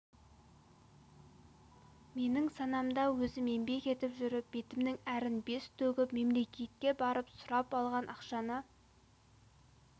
менің санамда өзім еңбек етіп жүріп бетімнің әрін бес төгіп мемлекетке барып сұрап алған ақшаны